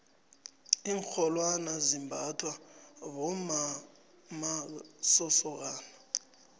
iinrholwane zimbathwa bommamasokana